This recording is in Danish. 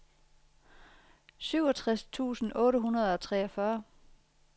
syvogtres tusind otte hundrede og treogfyrre